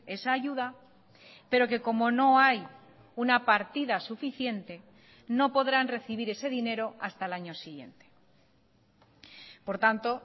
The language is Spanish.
esa ayuda pero que como no hay una partida suficiente no podrán recibir ese dinero hasta el año siguiente por tanto